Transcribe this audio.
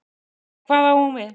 En hvað á hún við?